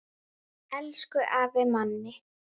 Elsku afi Manni.